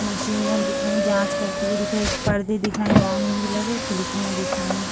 मशीने दिख रही है जांच करती हुई दिख रही है एक परदे दिख रहे जामुनी कलर की खिड़कियाँ दिख रही --